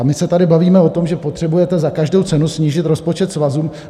A my se tady bavíme o tom, že potřebujete za každou cenu snížit rozpočet svazů.